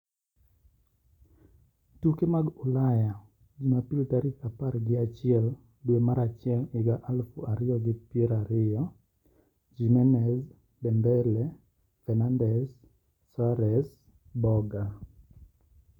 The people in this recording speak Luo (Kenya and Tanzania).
Tuke mag Ulaya Jumapil tarik apar gi achiel dwe mar achiel higa aluf ariyo gi pier ariyo: Jimenez, Dembele, Fernandes, Soares, Boga